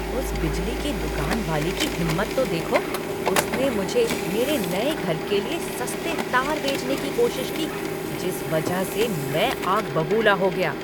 उस बिजली की दुकान वाले की हिम्मत तो देखो! उसने मुझे मेरे नए घर के लिए सस्ते तार बेचने की कोशिश की जिस वजह से मैं आग बबूला हो गया।